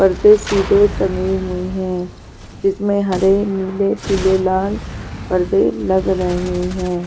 पर्दे सीधे टंगे हुए हैं जिसमें हरे नीले पीले लाल पर्दे लग रहे हैं.